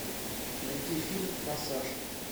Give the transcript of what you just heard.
найти фильм форсаж